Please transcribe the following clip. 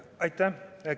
Aitäh!